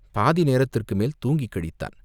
பாதி நேரத்துக்கு மேல் தூங்கிக் கழித்தான்.